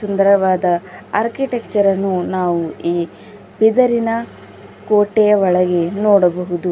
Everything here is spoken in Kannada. ಸುಂದರವಾದ ಆರ್ಕಿಟೆಕ್ಚರ್ ಅನ್ನು ನಾವು ಈ ಬೀದರಿನ ಕೋಟೆಯ ಒಳಗೆ ನೋಡಬಹುದು.